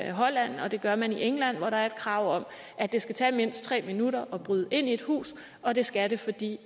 i holland og det gør man i england hvor der er et krav om at det skal tage mindst tre minutter at bryde ind i et hus og det skal det fordi